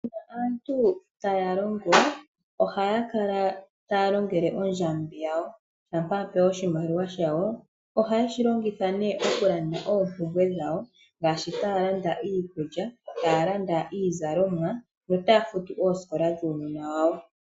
Uuna aantu taya longo, ohaya kala taya longele oondjambi yawo shampa yapewa oshimaliwa shayo, ohaye shilongitha nee okulanda oompumbwe dhawo, ngaashi taalanda iikuly,a taalanda iizalomwa yo taafutu oosikola dhuunona wawo.